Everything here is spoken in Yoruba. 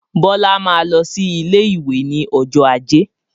Bọlá máa lọ sí ilé ìwé ni ọjọ́ ajé